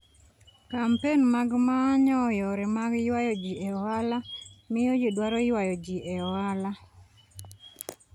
Kampen mag manyo yore mag ywayo ji e ohala, miyo ji dwaro ywayo ji e ohala.